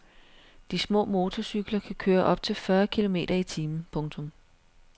De små motorcykler kan køre op til fyrre kilometer i timen. punktum